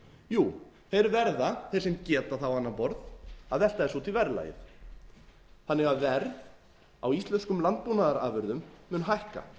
jú þeir verða þeir sem geta það á annað borð að velta þessu út í verðlagið þannig að verð á íslenskum landbúnaðarafurðum mun hækka